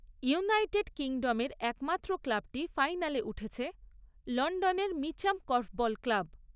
United কিংডমের একমাত্র ক্লাবটি ফাইনালে উঠেছে, লন্ডনের মিচ্যাম কর্ফবল ক্লাব।